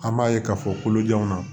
An b'a ye k'a fɔ kolojanw na